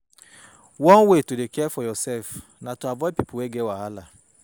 One way to dey care for yoursef na to avoid people wey get wahala.